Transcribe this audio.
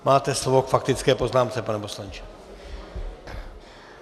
Máte slovo k faktické poznámce, pane poslanče.